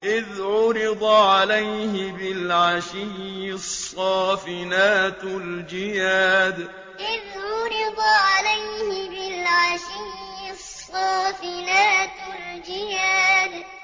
إِذْ عُرِضَ عَلَيْهِ بِالْعَشِيِّ الصَّافِنَاتُ الْجِيَادُ إِذْ عُرِضَ عَلَيْهِ بِالْعَشِيِّ الصَّافِنَاتُ الْجِيَادُ